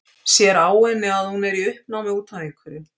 Sér á henni að hún er í uppnámi út af einhverju.